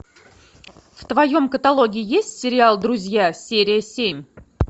в твоем каталоге есть сериал друзья серия семь